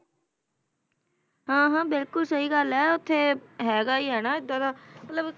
ਹਾਂ ਹਾਂ ਬਿਲਕੁਲ ਸਹੀ ਗੱਲ ਹੈ ਉੱਥੇ ਹੈਗਾ ਹੀ ਹੈ ਨਾ ਏਦਾਂ ਦਾ ਮਤਲਬ